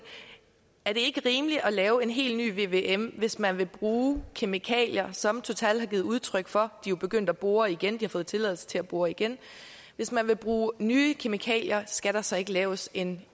er det ikke rimeligt at lave en helt ny vvm hvis man vil bruge kemikalier som total har givet udtryk for at jo begyndt at bore igen de har fået tilladelse til at bore igen hvis man vil bruge nye kemikalier skal der så ikke laves en